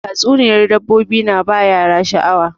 Tatsuniyar dabbobi na ba yara sha'awa